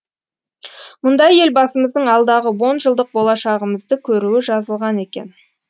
мұнда елбасымыздың алдағы онжылдық болашағымызды көруі жазылған екен